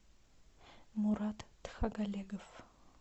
мурат тхагалегов